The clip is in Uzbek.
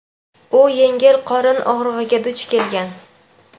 u yengil qorin og‘rig‘iga duch kelgan.